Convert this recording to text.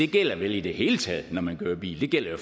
gælder i det hele taget når man kører bil det gælder jo